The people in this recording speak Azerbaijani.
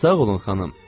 Sağ olun, xanım.